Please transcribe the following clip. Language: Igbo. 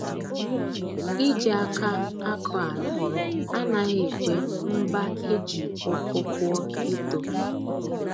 Iji aka akọ ala anaghi ekwe mba e ji uku kụọ ito